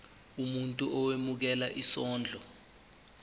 umuntu owemukela isondlo